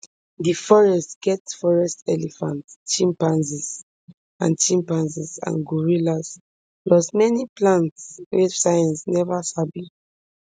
di forests get forest elephants chimpanzees and chimpanzees and gorillas plus many plants wey science neva sabi